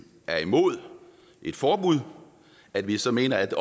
er imod et forbud at vi så mener at